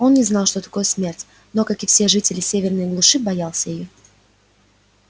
он не знал что такое смерть но как и все жители северной глуши боялся её